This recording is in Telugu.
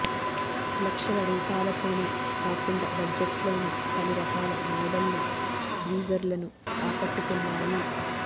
లక్షల రూపాలతోనే కాకుండా బడ్జెట్లోనూ పలు రకాల మోడళ్లు యూజర్లను ఆకట్టుకున్నాయి